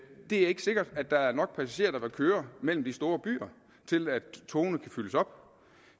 det er ikke sikkert at der nok passagerer der vil køre mellem de store byer til at togene kan fyldes op